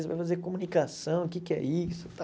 Você vai fazer comunicação, o que que é isso?